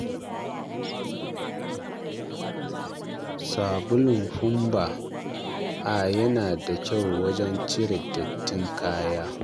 Sabulin Funbact A yana da kyau wajen cire dattin kaya.